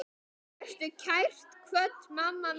Vertu kært kvödd, mamma mín.